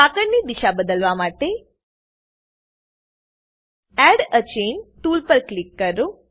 સાંકળની દિશા બદલવા માટે એડ એ ચેઇન ટૂલ પર ક્લિક કરો